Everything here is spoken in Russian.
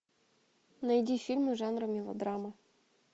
найди фильмы жанра мелодрама